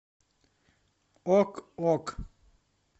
ок ок